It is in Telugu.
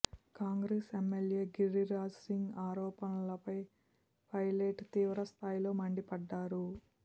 కాంగ్రెస్ ఎమ్మెల్యే గిరిరాజ్ సింగ్ ఆరోపణలపై పైల ట్ తీవ్రస్థాయిలో మండిపడ్డారు